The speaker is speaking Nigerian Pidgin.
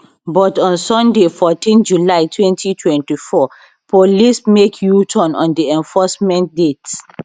but on sunday 14 july 2024 police make uturn on di enforcement date